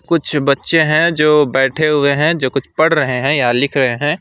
कुछ बच्चे हैं जो बैठे हुए हैं जो कुछ पढ़ रहे हैं या लिख रहे हैं।